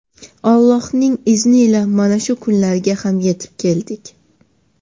Allohning izni ila mana shu kunlarga ham yetib keldik.